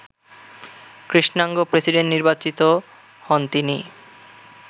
কৃষ্ণাঙ্গ প্রেসিডেন্ট নির্বাচিত হন তিনি